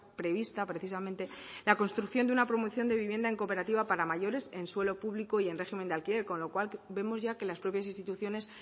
prevista precisamente la construcción de una promoción de vivienda en cooperativa para mayores en suelo público y en régimen de alquiler con lo cual vemos ya que las propias instituciones